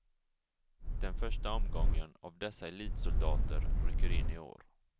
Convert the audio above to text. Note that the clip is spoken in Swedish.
Den första omgången av dessa elitsoldater rycker in i år.